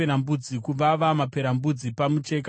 maperembudzi pamucheka kana mumba,